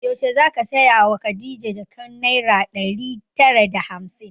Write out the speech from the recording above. Yaushe zaka saya wa khadija jakan naira ɗari tara da hamsin?